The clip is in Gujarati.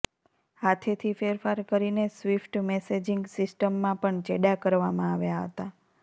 હાથેથી ફેરફાર કરીને સ્વિફ્ટ મેસેજિંગ સિસ્ટમમાં પણ ચેડાં કરવામાં આવ્યાં હતાં